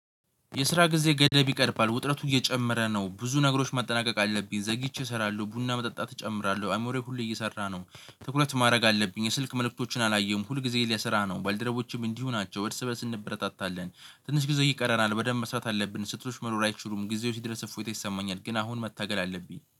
የስራ ጊዜ ገደብ ይቀርባል ውጥረቱ እየጨመረ ነው ብዙ ነገሮች ማጠናቀቅ አለብኝ ዘግይቼ እሰራለሁ ቡና መጠጣት እጨምራለሁ አይምሮየ ሁሌ እየሰራ ነው ትኩረት ማረግ አለብኝ። የስልክ መልእክቶችን አላየሁም ሁልጊዜ ለስራ ነው ባልደረቦቼም እንዲሁ ናቸው እርስ በእርስ እንበረታታለን። ትንሽ ጊዜ ይቀረናል በደንብ መስራት አለብን። ስህተቶች መሆን አይችሉም ጊዜው ሲደረስ እፎይታ ይሰማኛል። ግን አሁን መታገል አለብኝ